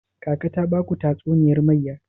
Kaka ta baku tatuniyar mayya?